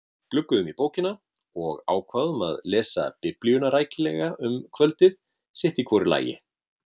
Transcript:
Glugguðum í bókina og ákváðum að lesa biblíuna rækilega um kvöldið sitt í hvoru lagi.